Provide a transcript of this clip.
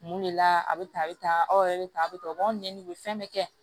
Mun de la a bɛ tan a bɛ tan aw yɛrɛ bɛ tan a bɛ tan o b'aw ɲɛɲini u bɛ fɛn bɛɛ kɛ